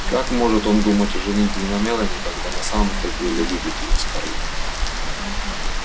как может он думать о женитьбе на мелани когда на самом-то деле любит её скарлетт